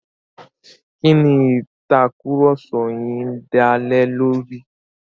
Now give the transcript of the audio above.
Kí ni ìtàkurọ̀sọ yin dá lé lórí?